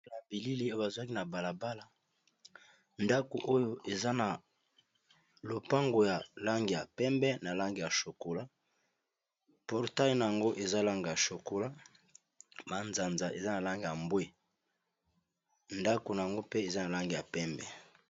Na bilili oyo ba zwaki na balabala ndako oyo eza na lopango ya langi ya pembe na langi ya chokola portai na yango eza langi ya chokola manzanza eza na langi ya mbwe ndako na ngo mpe eza na langi ya pembe.